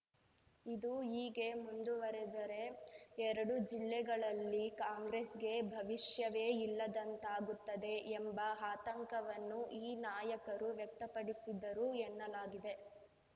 ಇದು ಹೀಗೇ ಮುಂದುವರೆದರೆ ಎರಡು ಜಿಲ್ಲೆಗಳಲ್ಲಿ ಕಾಂಗ್ರೆಸ್‌ಗೆ ಭವಿಷ್ಯವೇ ಇಲ್ಲದಂತಾಗುತ್ತದೆ ಎಂಬ ಆತಂಕವನ್ನು ಈ ನಾಯಕರು ವ್ಯಕ್ತಪಡಿಸಿದರು ಎನ್ನಲಾಗಿದೆ